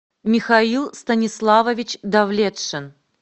михаил станиславович давлетшин